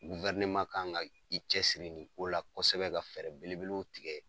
kan ka i cɛsiri nin ko la kɔsɛbɛ ka fɛɛrɛ belebelew tigɛ